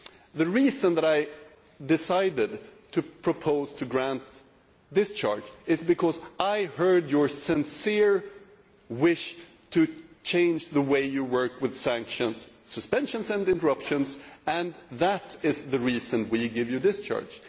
The reason that I decided to propose to grant discharge is because I heard your sincere wish to change the way you work with sanctions, suspensions and interruptions and that is the reason we give you discharge.